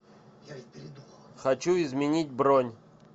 хочу изменить бронь